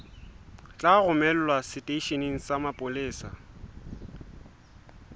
tla romelwa seteisheneng sa mapolesa